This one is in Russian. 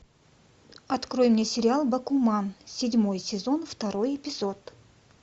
открой мне сериал бакуман седьмой сезон второй эпизод